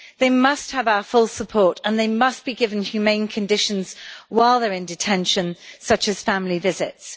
They must have our full support and they must be given humane conditions while they are in detention, such as family visits.